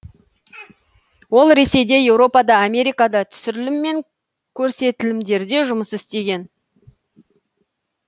ол ресейде еуропада америкада түсірілім мен көрсетілімдерде жұмыс істеген